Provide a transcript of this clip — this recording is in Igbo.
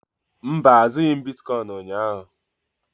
Mba, azụghị m bitkọịn ụnyaahụ.